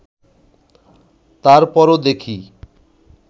তার পরও দেখি